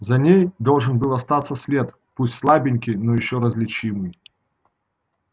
за ней должен был остаться след пусть слабенький но ещё различимый